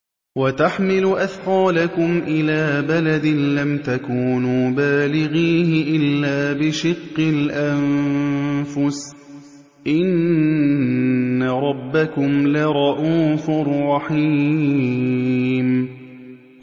وَتَحْمِلُ أَثْقَالَكُمْ إِلَىٰ بَلَدٍ لَّمْ تَكُونُوا بَالِغِيهِ إِلَّا بِشِقِّ الْأَنفُسِ ۚ إِنَّ رَبَّكُمْ لَرَءُوفٌ رَّحِيمٌ